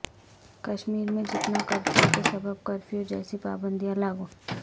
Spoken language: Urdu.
کشمیر میں جنتا کرفیو کے سبب کرفیو جیسی پابندیاں لاگو